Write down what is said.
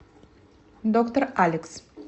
доктор алекс